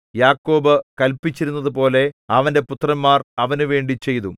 യാക്കോബ് കല്പിച്ചിരുന്നതുപോലെ അവന്റെ പുത്രന്മാർ അവനുവേണ്ടി ചെയ്തു